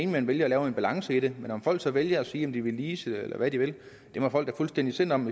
man vælger at lave en balance i det med om folk så vælger at sige at de ville lease eller hvad de vil så må folk da fuldstændig selv om